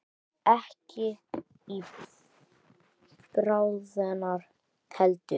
Og ekki í bráðina heldur.